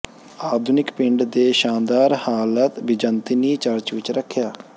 ਆਧੁਨਿਕ ਪਿੰਡ ਦੇ ਸ਼ਾਨਦਾਰ ਹਾਲਤ ਬਿਜ਼ੰਤੀਨੀ ਚਰਚ ਵਿਚ ਰੱਖਿਆ